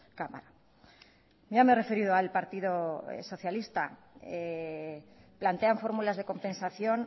cámara ya me he referido al partido socialista plantean fórmulas de compensación